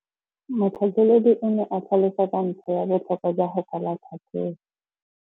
Motlhatlheledi o ne a tlhalosa ka ntlha ya botlhokwa jwa go kwala tlhatlhôbô.